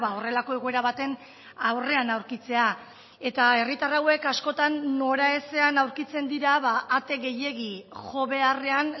horrelako egoera baten aurrean aurkitzea eta herritar hauek askotan noraezean aurkitzen dira ate gehiegi jo beharrean